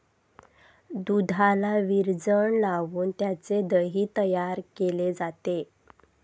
दुधाला विरजण लावून त्याचे दही तयार केले जाते.